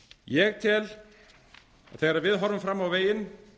ég tel að þegar við horfum fram á veginn